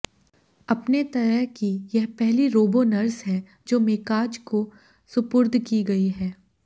अपने तरह की यह पहली रोबो नर्स है जो मेकाज को सुपुर्द की गई है